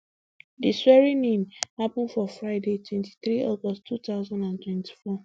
di swearingin happun for friday twenty-three august two thousand and twenty-four